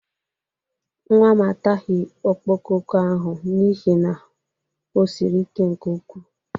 Nwa m ataghị okpokoko ahụ n'ihe na o siri ike nke ukwu.